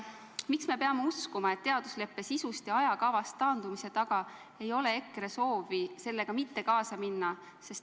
Miks me peame uskuma, et teadusleppe sisust ja ajakavast taandumise taga ei ole EKRE soovi sellega mitte kaasa minna?